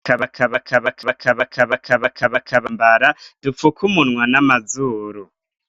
Ka baka baka baka baka baka baka baka bakabambara dupfukoumunwa n'amazuru.